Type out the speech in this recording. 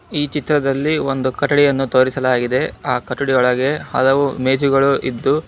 ಈ ಚಿತ್ರದಲ್ಲಿ ಒಂದು ಕಟ್ಟಡಿಯನ್ನು ತೋರಿಸಲಾಗಿದೆ ಆ ಕಟ್ಟಡಿ ಒಳಗೆ ಹಲವು ಮೇಜುಗಳು ಇದ್ದು--